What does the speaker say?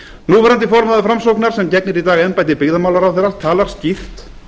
núverandi formaður framsóknar sem gegnir í dag embætti byggðamálaráðherra talar skýrt